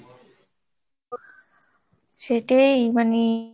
সেটাই মানে।